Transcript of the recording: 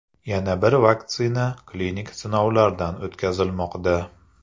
Yana bir vaksina klinik sinovlardan o‘tkazilmoqda.